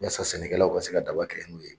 Yasa sɛnɛkɛlaw ka se ka daba kɛ n'o ye.